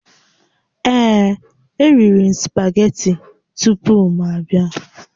Ee, eriri m spageti tupu m abịa